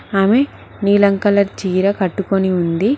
ఆమె నీలం కలర్ చీర కట్టుకొని ఉంది.